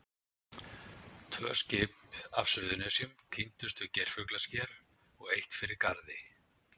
Tvö skip af Suðurnesjum týndust við Geirfuglasker og eitt fyrir Garði.